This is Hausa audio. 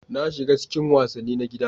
Na shiga cikin wasanni na gida.